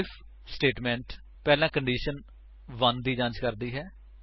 IF statement ਪਹਿਲਾਂ condition 1 ਦੀ ਜਾਂਚ ਕਰਦਾ ਹੈ